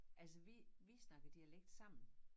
Altså vi vi snakker dialekt sammen